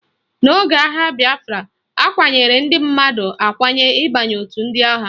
N'oge agha bịafra, akwanyere ndị mmadụ akwanye ịbanye otu ndị agha